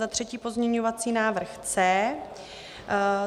Za třetí pozměňovací návrh C.